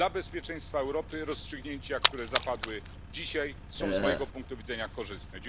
Dla bezpieczeństwa Europy rozstrzygnięcia, które zapadły dzisiaj, są z mojego punktu widzenia korzystne.